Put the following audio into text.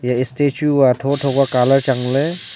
e statue aa tho tho ka colour chang ley.